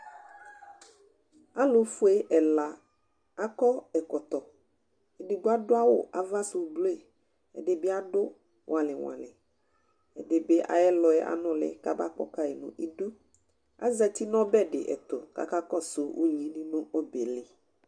alofue ɛla akɔ ɛkɔtɔ edigbo ado awu ava sò blu ɛdi bi ado wɔli wɔli ɛdi bi ayi ɛlɔɛ anòli k'aba kɔ kayi n'idu azati n'ɔbɛ di ɛto k'aka kɔsu uwoviu di n'ɔbɛli